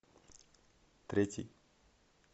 третий